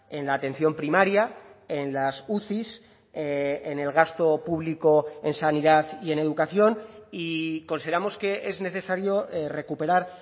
en la atención primaria en las uci en el gasto público en sanidad y en educación y consideramos que es necesario recuperar